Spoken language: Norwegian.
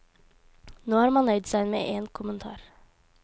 Nå har man nøyd seg med en kommentar.